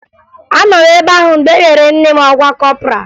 Anọ m ebe ahụ mgbe e nyere nne m ọkwa kọpọraa